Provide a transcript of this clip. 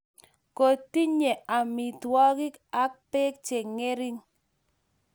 kotinye amitwogik ak beek che ng'ering'.